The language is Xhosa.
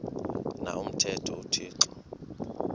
na umthetho uthixo